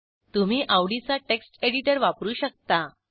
तुम्ही आवडीचा text editor वापरू शकता